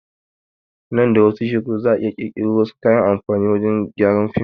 Nan da wasu shekaru za a iya ƙirƙiro wasu kayan amfani wurin gyaran film